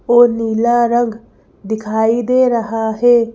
वो नीला रंग दिखाई दे रहा है।